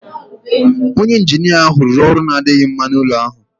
Onye injinia ahụ rụrụ ọrụ na-adịghị mma n'ụlọ ahụ